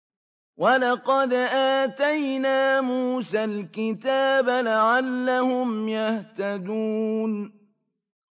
وَلَقَدْ آتَيْنَا مُوسَى الْكِتَابَ لَعَلَّهُمْ يَهْتَدُونَ